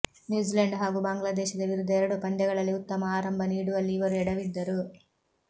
New Zealand ಹಾಗೂ ಬಾಂಗ್ಲಾದೇಶದ ವಿರುದ್ಧ ಎರಡೂ ಪಂದ್ಯಗಳಲ್ಲಿ ಉತ್ತಮ ಆರಂಭ ನೀಡುವಲ್ಲಿ ಇವರು ಎಡವಿದ್ದರು